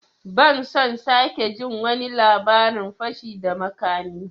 Ban son sake jin wani labarin fashi da makami!